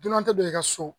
Dunan tɛ don i ka so